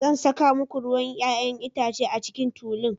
Zan saka muku ruwan 'ya'yan itace a cikin tulun.